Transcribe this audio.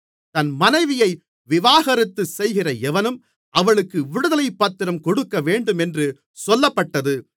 தன் மனைவியை விவாகரத்து செய்கிற எவனும் அவளுக்கு விடுதலைப்பத்திரம் கொடுக்கவேண்டும் என்று சொல்லப்பட்டது